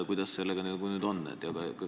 Kuidas sellega nüüd on?